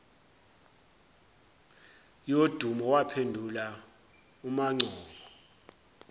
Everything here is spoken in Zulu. yodumo waphendula umangcobo